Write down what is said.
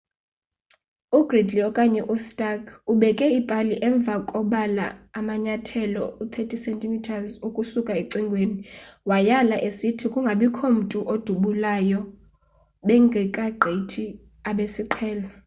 u-gridley okanye u-stark ubekhe ipali emva kobala amanyathelo 30 cm ukusuka ecingweni wayala esithi kungabikho mntu odubulayo bengeka gqithi abesiqhelo